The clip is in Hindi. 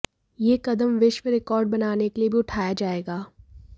यह कदम विश्व रिकॉर्ड बनाने के लिए भी उठाया जाएगा